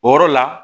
O yɔrɔ la